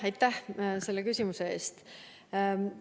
Aitäh selle küsimuse eest!